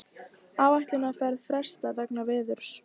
Áætlunarferð frestað vegna veðurs